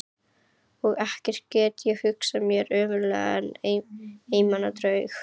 Og ekkert get ég hugsað mér ömurlegra en einmana draug.